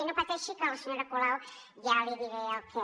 i no pateixi que a la senyora colau ja li diré el què